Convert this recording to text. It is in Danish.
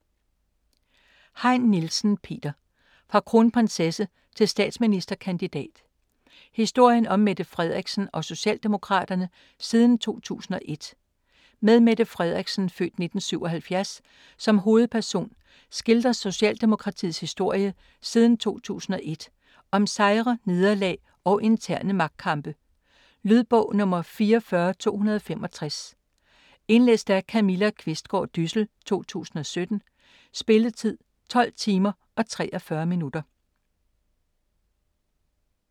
Heyn Nielsen, Peter: Fra kronprinsesse til statsministerkandidat: historien om Mette Frederiksen og Socialdemokraterne siden 2001 Med Mette Frederiksen (f. 1977) som hovedperson skildres Socialdemokratiets historie siden 2001. Om sejre, nederlag og interne magtkampe. Lydbog 44265 Indlæst af Camilla Qvistgaard Dyssel, 2017. Spilletid: 12 timer, 43 minutter.